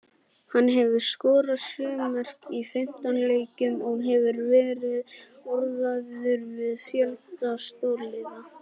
Hann hefur skorað sjö mörk í fimmtán leikjum og hefur verið orðaður við fjölda stórliða.